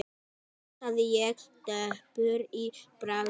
hugsaði ég döpur í bragði.